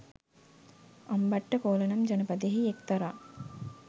අම්බට්ඨකෝල නම් ජනපදයෙහි එක්තරා